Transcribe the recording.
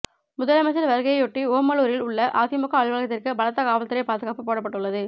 முதலமைச்சர் வருகையையொட்டி ஓமலூரில் உள்ள அதிமுக அலுவலத்திற்கு பலத்த காவல்துறை பாதுகாப்பு போடப்பட்டுள்ளது